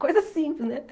Coisa simples, né?